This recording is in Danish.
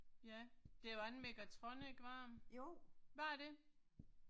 Ja. Det var ikke en Migatronic, var det? Var det det?